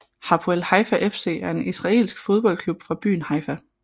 Hapoel Haifa FC er en israelsk fodboldklub fra byen Haifa